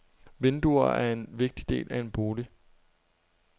Vinduer er en vigtig del af en bolig.